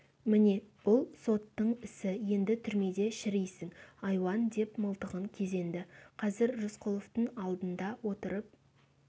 міне бұл соттың ісі енді түрмеде шірисің айуан деп мылтығын кезенді қазір рысқұловтың алдында отырып